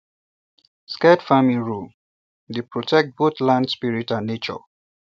sacred farming rule um dey protect both land spirit and nature